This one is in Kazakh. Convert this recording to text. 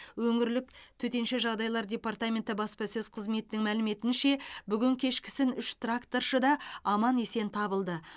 өңірлік төтенше жағдайлар департаменті баспасөз қызметінің мәліметінше бүгін кешкісін үш тракторшы да аман есен табылды